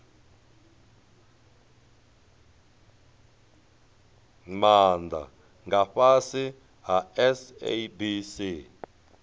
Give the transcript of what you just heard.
maana nga fhasi ha sabc